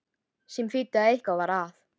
Sem þýddi að eitthvað var að.